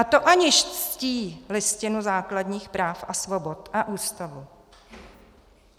A to aniž ctí Listinu základních práv a svobod a Ústavu.